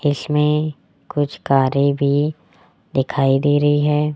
इसमें कुछ कारें भी दिखाई दे रही है।